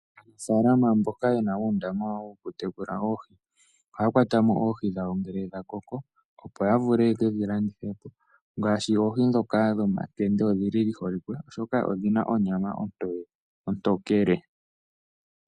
Aanafaalama mboka ye na uundama woku tekulila oohi ohaya kwata mo oohi dhawo ngele dha koko opo ya vule ye ke dhi landithe. Ngaashi oohi ndhoka dhomakende odhi holike oshoka odhi na onyama ontokele.